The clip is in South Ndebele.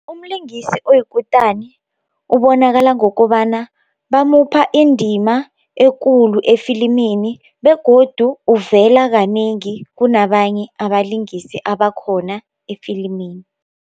Umlingisi oyikutani ubonakala ngokobana bamupha indima ekulu efilimini begodu uvela kanengi kunabanye abalingisi abakhona efilimini.